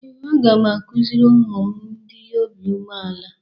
Ee, a ga m akụziri ụmụ m ịdị obi umeala.